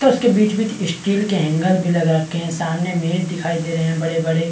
तथ उसके बिच- बिच स्टील के हैंगर भी लगा रखे है सामने मेज दिखाई दे रहै है बड़े -बड़े --